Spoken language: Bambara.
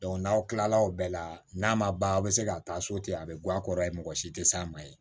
n'aw kila la o bɛɛ la n'a ma ban aw bɛ se ka taa so ten a bɛ guwa a kɔrɔ ye mɔgɔ si tɛ s'a ma yen